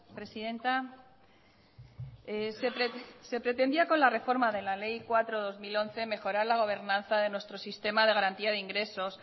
presidenta se pretendía con la reforma de la ley cuatro barra dos mil once mejorar la gobernanza de nuestro sistema de garantía de ingresos